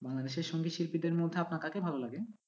বাংলাদেশের সংগীত শিল্পীদের মধ্যে আপনার কাকে ভালো লাগে?